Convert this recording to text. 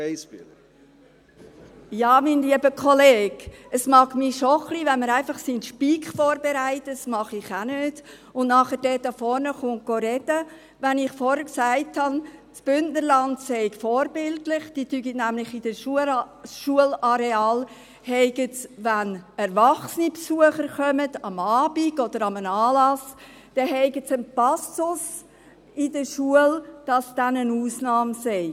Ja, mein lieber Kollege, es ärgert mich schon ein wenig, wenn man seinen Speech vorbereitet – das mache ich auch nicht – und dann hier vorne sprechen kommt, wenn ich vorhin gesagt habe, dass das Bündnerland vorbildlich sei, weil sie nämlich bei den Schularealen, wenn erwachsene Besucher kommen, am Abend oder an einem Anlass, einen Passus in der Schule haben, dass es dann eine Ausnahme sei.